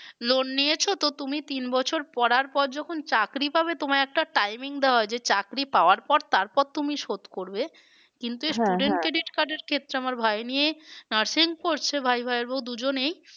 Loan নিয়েছো তো তুমি তিন বছর পড়ার পর যখন চাকরি পাবে তোমায় একটা timing দেওয়া হয় যে চাকরি পাওয়ার পর তারপর তুমি শোধ করবে কিন্তু ক্ষেত্রে আমার ভাই নিয়ে nursing পড়ছে ভাই ভাইয়ের বউ দুজনেই